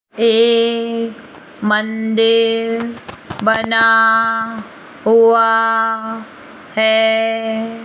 एक मंदिर बना हुआ है।